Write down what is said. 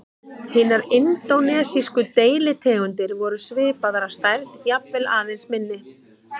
Hinar indónesísku deilitegundirnar voru svipaðar að stærð, jafnvel aðeins minni.